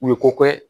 U ye ko kɛ